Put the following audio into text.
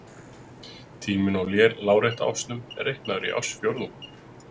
Tíminn á lárétta ásnum er reiknaður í ársfjórðungum.